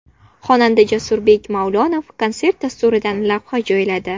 Xonanda Jasurbek Mavlonov konsert dasturidan lavha joyladi.